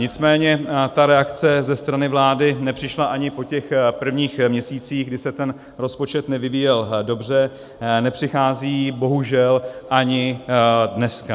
Nicméně ta reakce ze strany vlády nepřišla ani po těch prvních měsících, kdy se ten rozpočet nevyvíjel dobře, nepřichází bohužel ani dneska.